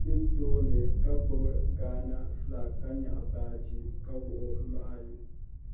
be tooni ka gbubi Gaana fulaak ka nyaɣi baaji ka wuɣi o nuhi ayi.